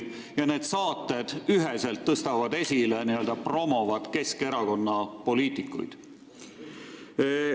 Ja need saated tõstavad üheselt esile, promovad Keskerakonna poliitikuid.